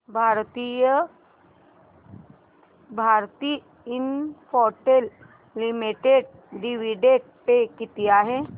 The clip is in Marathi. Bharti Infratel limited dividend pay किती आहे